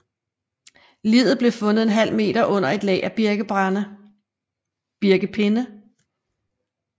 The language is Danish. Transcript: Liget blev fundet en halv meter under et lag af birkepinde